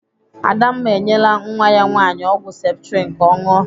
Adamma enyela nwa ya nwaanyị ọgwụ septrin ka ọ ṅụọ.